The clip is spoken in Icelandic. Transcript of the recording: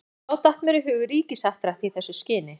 Og þá datt mér í hug ríkishappdrætti í þessu skyni.